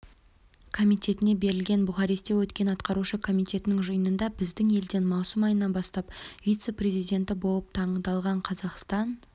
комитетіне берілген бухаресте өткен атқарушы комитеттің жиынында біздің елден маусым айынан бастап вице-президенті болып таңдалғанқазақстан